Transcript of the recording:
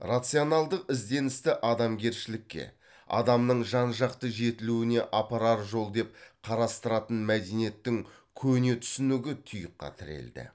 рационалдық ізденісті адамгершілікке адамның жан жақты жетілуіне апарар жол деп қарастыратын мәдениеттің көне түсінігі тұйыққа тірелді